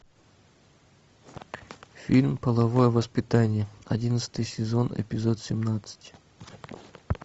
фильм половое воспитание одиннадцатый сезон эпизод семнадцать